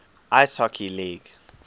ice hockey league